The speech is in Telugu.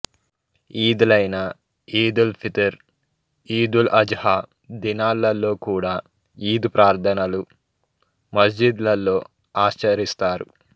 ఈద్ లైన ఈదుల్ఫిత్ర్ ఈదుల్అజ్ హా దినాలలో కూడా ఈద్ ప్రార్థనలు మస్జిద్ లలో ఆచరిస్తారు